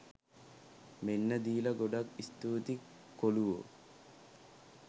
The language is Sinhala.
මෙන්න දීලා ගොඩක් ස්තුතියි කොලුවෝ